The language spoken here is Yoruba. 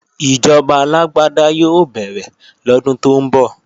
Ìjọba alágbáda yóò bẹ̀rẹ̀ lọ́dún tó ń bọ̀